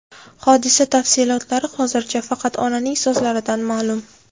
Hodisa tafsilotlari hozircha faqat onaning so‘zlaridan ma’lum.